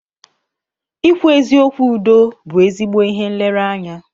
Ịkwụ eziokwu Udo bú ezigbo ihe nlereanya.